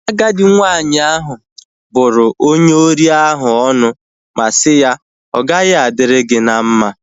Agadi nwanyị ahu bụrụ onye ori ahu ọnụ ma si ya, ọ gaghị adịrị gị na mma